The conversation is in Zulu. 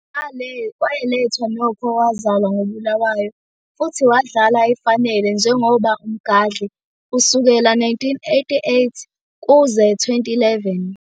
Wayelethwa Nokho owazalwa ngo Bulawayo, futhi wadlala efanele njengoba Umgadli kusukela 1988 kuze 2011.